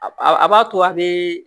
A b'a to a bɛ